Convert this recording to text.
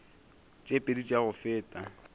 tše pedi tša go feta